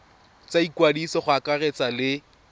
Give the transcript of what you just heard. tsa ikwadiso go akaretsa le